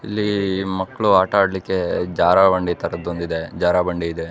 ಇಲ್ಲಿ ಮಕ್ಕಳು ಆಟ ಆಡಲಿಕ್ಕೆ ಜಾರಬಂಡಿ ತರದು ಒಂದು ಇದೆ ಜಾರಬಂಡಿ ಇದೆ.